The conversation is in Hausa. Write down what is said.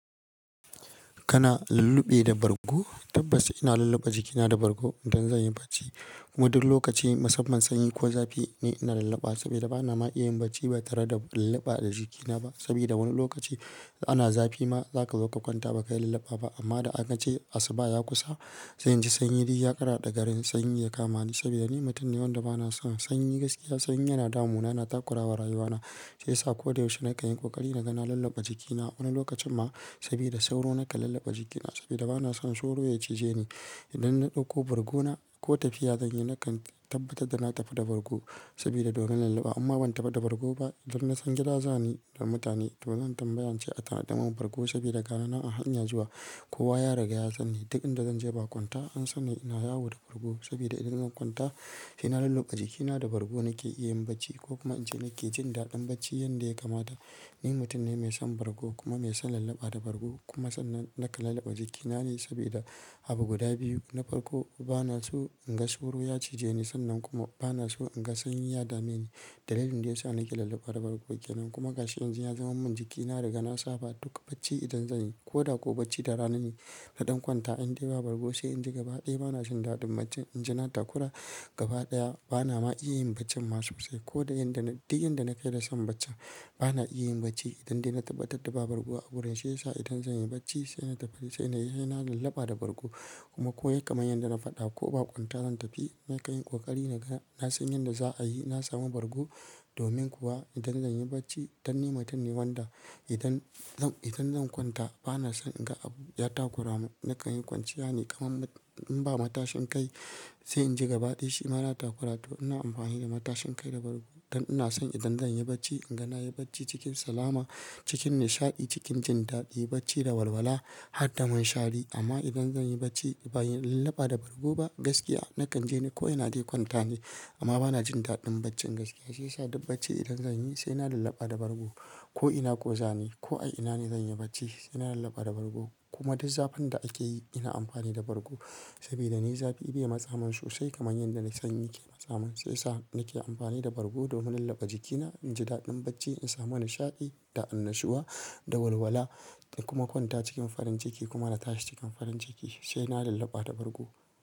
Kana lulluɓe da bargo? Tabbas ina lulluɓe jikina da bargo idan zan yi bacci. Mu duk lokaci musamman sanyi ko zafi ni ina lulluɓa saboda bana ma iya yin bacci ba tare da lulluɓa da jikina ba. Saboda wani lokaci ana zafi ma za ka zo ka kwanta ba ka yi lulluɓa ba amma da aka ce asuba ya kusa sai in ji sanyi ya yi ya ƙaraɗa da garin sanyi ya kama ni saboda ni mutum ne wanda bana son sanyi gaskiya. Sanyi yana damu na, yana takurawa rayuwana shiyasa ko da yaushe na kan yi ƙoƙari naga lulluɓa jikina. Wani lokacin ma saboda sauro na ka lulluɓa jikina saboda bana son sauro ya cije ni. Idan na ɗauko bargona ko tafiya zan yi na kan tabbatar da na tafi da bargo saboda domin lulluɓa umma ban taba da bargo ba don na san gida za ni da mutane to zan tambaya ince a tanada mun bargo saboda gani nan a hanya zuwa kowa ya riga ya san ni duk inda zan je bakwanta an san ni ina yawo da bargo saboda idan zan kwanta sai na lulluɓa jikina da bargo nake iya yin bacci ko kuma in ce nake jin daɗin bacci yanda ya kamata. Ni mutum ne mai son bargo kuma mai son lulluɓa da bargo kuma sannan na ka lulluɓa jikina ne saboda abu guda biyu. Na farko banaso inga dauro ya cije ni sannan kuma banaso inga sanyi ya dame ni dalilin dayasa nake lulluɓa da bargo kenan, kuma gashi yanzu yazama min jiki na riga na saba duk bacci idan zanyi koda kwa bacci da rana ne. Na ɗan kwanta in dai ba bargo sai in ji gabaɗaya bana jin daɗin baccin. In ji na takura gabaɗaya bana ma iya yin baccin ma sosai ko da yin duk inda na kai da son bacci bana iya yin bacci idan dai na tabbatar da ba bargo a wurin shi ya sa idan zan yi bacci sai na tafi sai na lulluɓa da bargo kuma ko ya kamai yadda na faɗa ko bakwanta zan tafi na kai yin ƙoƙari naga na san yadda za'ayi na samu bargo domin kuwa idan zan yi bacci dan ni mutum ne wanda idan zan, idan zan kwanta bana son in ga abu ya takuramin na kai yin kwanciya ne kamar in ba matashin kai sai in ji gabaɗaya shima na takura to ina amfani da matashin kai da bargo don ina son idan zan yi bacci inga na yi bacci cikin salama, cikin nishaɗi, cikin jin daɗi, bacci da walwala harda munshari amma idan zan yi bacci ba yin lulluɓa da bargo ba gaskiya na kan je ni kawai na dai kwanta ne amma bana jin daɗin bacci gaskiya. Shi ya sa duk bacci idan zanyi sai na lulluɓa da bargo ko ina kuwa za ni ko a ina ne zan yi bacci sai ina lulluɓa da bargo kuma duk zafin da ake yi ina amfani da bargo sabida ni zafi bai matsamin sosai kamar yadda na sanyi yake matsa mun shi ya sa nake amfani da bargo domin lulluɓa jikina, in ji daɗin bacci, in samu nishaɗi, da'annashuwa, da walwala da kuma kwanta cikin farin ciki kuma na tashi cikin farin ciki sai na lulluɓa da bargo.